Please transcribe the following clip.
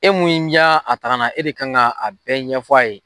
E mun ya a taa kana, e de kan ka a bɛɛ ɲɛfɔ a ye.